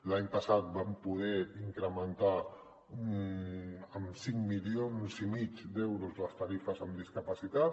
l’any passat vam poder incrementar en cinc milions i mig d’euros les tarifes en discapacitat